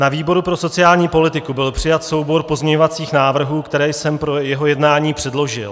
Na výboru pro sociální politiku byl přijat soubor pozměňovacích návrhů, které jsem pro jeho jednání předložil.